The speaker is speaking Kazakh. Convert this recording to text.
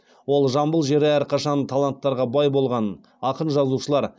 ол жамбыл жері әрқашан таланттарға бай болғанын ақын жазушылар